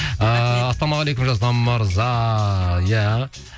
ыыы ассалаумағалейкум жасұлан мырза иә